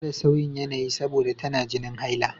Adama tana fama da sauyin yanayi saboda tana jinin haila.